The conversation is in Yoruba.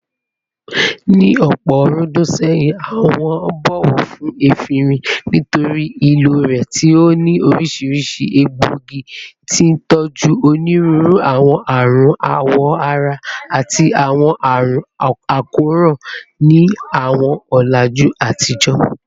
Ní ọ̀pọ̀ ọ̀rúndún sẹ́yìn, wọ́n ń bọ̀wọ̀ fún efinrin nítorí ìlò rẹ̀ tí ó ní oríṣiríṣi egbòogi, tí ń tọ́jú onírúurú àwọn àrùn awọ ara àti àwọn àrùn àkóràn ní àwọn ọ̀làjú àtijọ́.